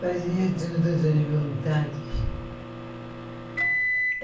Fazia todas as vontades.